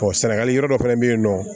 sɛnɛgali yɔrɔ dɔ fɛnɛ be yen nɔ